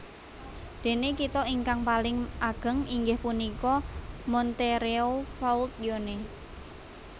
Dene kitha ingkang paling ageng inggih punika Montereau Fault Yonne